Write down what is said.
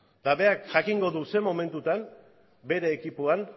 eta berak jakingo du zer momentutan bere ekipoan